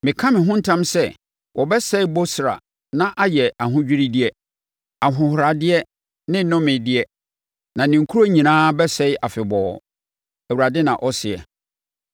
Meka me ho ntam sɛ wɔbɛsɛe Bosra na ayɛ ahodwiredeɛ, ahohoradeɛ ne nnomedeɛ; na ne nkuro nyinaa bɛsɛe afebɔɔ,” Awurade na ɔseɛ.